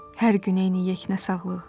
Hər gün eyni yeknəsaglıq.